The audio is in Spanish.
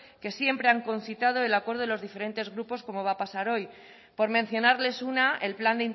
que siempre han concitado el acuerdo de los diferentes grupos como va a pasar hoy por mencionarles una el plan